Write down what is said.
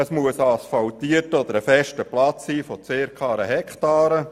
Es muss sich um einen asphaltierten oder festen Platz von circa einer Hektare handeln.